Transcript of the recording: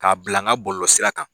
K'a bila n ga bɔlɔlɔ sira kan.